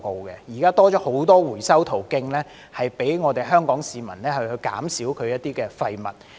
現在已增加了很多回收途徑，讓香港市民減少一些廢物。